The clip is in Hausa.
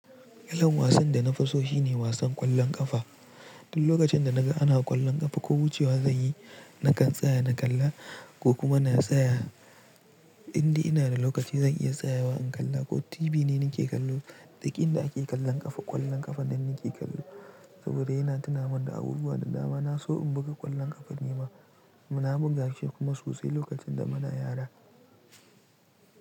Kalan wasan da na fi so shine wasan ƙwallon ƙafa. Duk lokacin da naga ana ƙwallon ƙafa ko wucewa zan yi, nakan tsaya na kalla ko kuma na tsaya indai ina da lokaci zan iya tsayawa in kalla ko TV ne nike kallo. Duk inda ake kallon ƙafa, ƙwallon ƙafa nan nike kallo saboda yana tunamun da abubuwa da dama. Na so in buga ƙwallon ƙafa ni ma, na buga shi kuma sosai lokacin da muna yara.